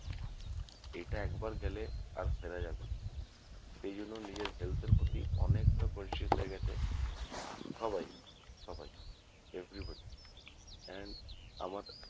এটা একবার গেলে আর ফেরা যাবে না এইজন্য নিজের health এর প্রতি অনেকটা conscious হয়ে গেছে সবাই সবাই everybody and আমার